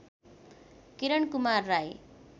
Kiran Kumar Rai